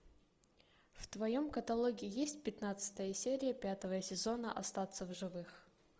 в твоем каталоге есть пятнадцатая серия пятого сезона остаться в живых